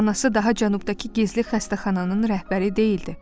Anası daha cənubdakı gizli xəstəxananın rəhbəri deyildi.